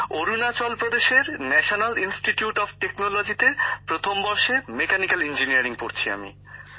অরুণাচল প্রদেশের national institute of টেকনোলজিতে প্রথম বর্ষে মেকানিক্যাল ইঞ্জিনীয়ারিং নিয়ে পড়ছি আমি